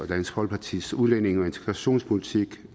dansk folkepartis udlændinge og integrationspolitik